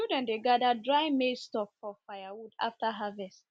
children dey gather dry maize stalk for firewood after harvest